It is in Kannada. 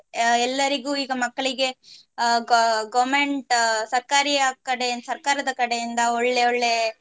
ಅಹ್ ಎಲ್ಲರಿಗು ಈಗ ಮಕ್ಕಳಿಗೆ ಅಹ್ ga~ government ಸರ್ಕಾರಿಯಾ ಕಡೆ ಸರ್ಕಾರದ ಕಡೆಯಿಂದ ಒಳ್ಳೆ ಒಳ್ಳೆ